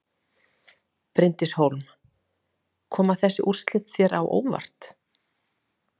Bryndís Hólm: Koma þessi úrslit þér á óvart?